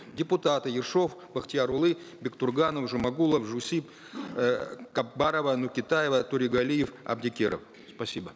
депутаты ершов бахтиярулы бектурганов жумагулов жусип э капбарова нукетаева торегалиев абдикеров спасибо